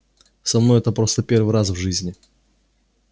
со мной это просто первый раз в жизни